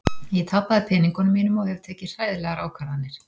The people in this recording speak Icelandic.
Ég tapaði peningunum mínum og hef tekið hræðilegar ákvarðanir.